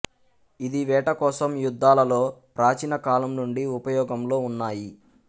ఇది వేట కోసం యుద్ధాలలో ప్ర్రాచీనకాలం నుండి ఉపయోగంలో ఉన్నాయి